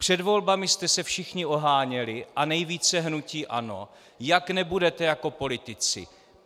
Před volbami jste se všichni oháněli, a nejvíce hnutí ANO, jak nebudete jako politici.